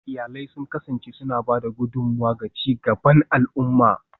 Iyalai sun kasance suna ba da gudummawa ga ci gaban al'umma